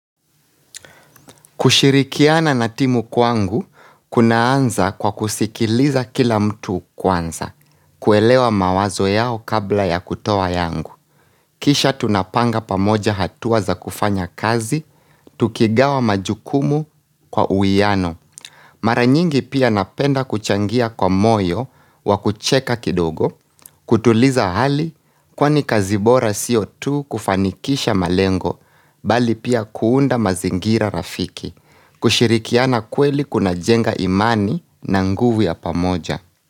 Kushirikiana na timu kwangu, kunaanza kwa kusikiliza kila mtu kwanza. Kuelewa mawazo yao kabla ya kutoa yangu. Kisha tunapanga pamoja hatua za kufanya kazi, tukigawa majukumu kwa uwiano. Mara nyingi pia napenda kuchangia kwa moyo wa kucheka kidogo, kutuliza hali kwani kazi bora sio tu kufanikisha malengo, bali pia kuunda mazingira rafiki. Kushirikiana kweli kunajenga imani na nguvu ya pamoja.